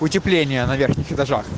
утепление на верхних этажах